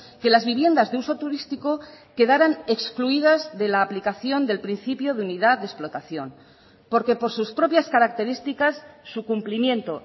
que las viviendas de uso turístico quedaran excluidas de la aplicación del principio de unidad de explotación porque por sus propias características su cumplimiento